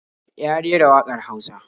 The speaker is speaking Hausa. Ya rera waƙar Hausa